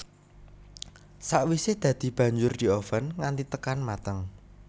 Sakwisè dadi banjur dioven nganti tekan mateng